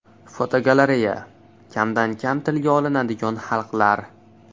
Fotogalereya: Kamdan kam tilga olinadigan xalqlar.